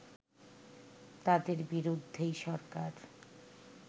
তাদের বিরুদ্ধেই সরকার